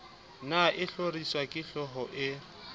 ne a hloriswa kehlooho e